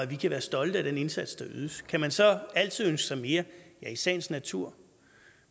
vi kan være stolte af den indsats der ydes kan man så altid ønske sig mere ja i sagens natur